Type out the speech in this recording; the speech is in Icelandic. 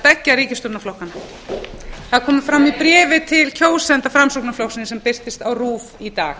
beggja ríkisstjórnarflokkanna það kom fram í bréfi til kjósenda framsóknarflokksins sem birtist á rúv í dag